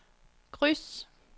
kryds